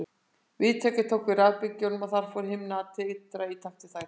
Viðtækið tók við rafbylgjunum og þar fór himna að titra í takt við þær.